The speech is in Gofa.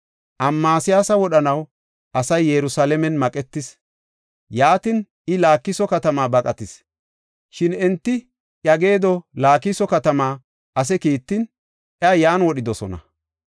Amasiyaasa wodhanaw asay Yerusalaamen maqetis; yaatin I Laakiso katama baqatis. Shin enti iya geedo Laakiso katama ase kiittin, iya yan wodhidosona.